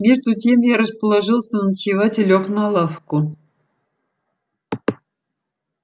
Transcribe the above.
между тем я расположился ночевать и лёг на лавку